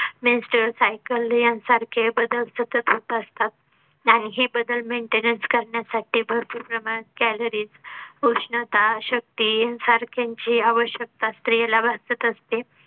menstrual cycle यांसारखे बदल सतत होत असतात आणि हे बदल maintenance करण्यासाठी भरपूर प्रमाणात. calories, उष्णता शक्ती सारखे ची आवश्यकता स्त्रीला वाटत असते.